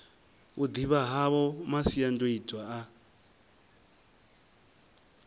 u ḓivha havho masiandoitwa a